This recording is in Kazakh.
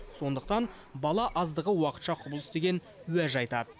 сондықтан бала аздығы уақытша құбылыс деген уәж айтады